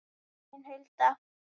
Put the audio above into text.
Þín, Hulda.